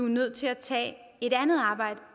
nødt til at tage et andet arbejde